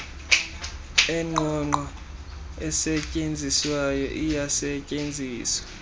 engqongqo esetyenziswayo iyasetyenziswa